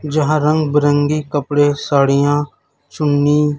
जहां रंग बिरंगी कपड़े साड़ियां चुन्नी --